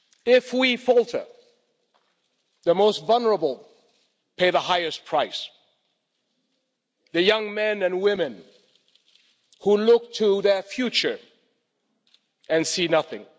If we falter, the most vulnerable pay the highest price the young men and women who look to their future and see nothing